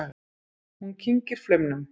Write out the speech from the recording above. Hún kyngir flaumnum.